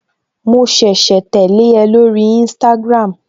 Mo ṣẹ̀ṣẹ̀ tẹ́lẹ̀ ẹ lórí instagram